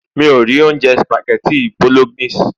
mi o ri ounjẹ spaghetti bolognese